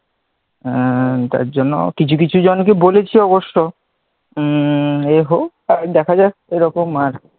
হ্যাঁ তার জন্য কিছু কিছু জনকে বলেছি অবশ্য, আগে হোক তারপর দেখা যাক কি রকম,